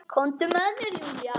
Komdu með mér Júlía.